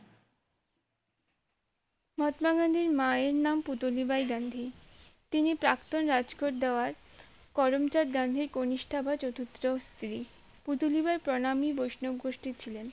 মহাত্মা গান্ধীর মায়ের নাম পুতলিবাই গান্ধী তিনি প্রাক্তন রাজকোর দেওয়ার করমচাঁদ গান্ধীর কনিষ্ঠা বা চতুর্থ স্ত্রী পুটুলি বাই প্রণামী বৈষ্ণব গোষ্ঠীর ছিলেন